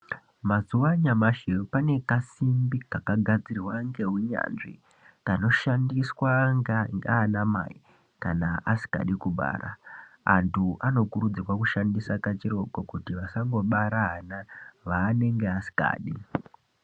Mazuva anyamashi pane kasimbi kaka gadzirwa ngeunyanzvi kanoshandiswa ngaana mai kana asingadi kubara andu anokurudzirwa kushandisa kachiroko kuti vasango bara ana vaanenge asingadi.